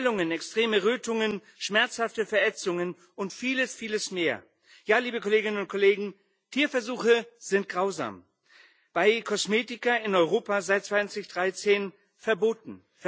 Schwellungen, extreme Rötungen, schmerzhafte Verätzungen und vieles mehr. Ja, liebe Kolleginnen und Kollegen, Tierversuche sind grausam bei Kosmetika in Europa seit 2013 verboten.